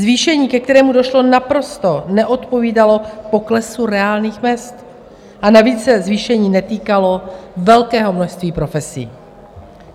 Zvýšení, ke kterému došlo, naprosto neodpovídalo poklesu reálných mezd, a navíc se zvýšení netýkalo velkého množství profesí.